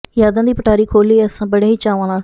ਯਾਦਾਂ ਦੀ ਪਟਾਰੀ ਖੋਲ੍ਹੀ ਅਸਾਂ ਬੜੇ ਹੀ ਚਾਵਾਂ ਨਾਲ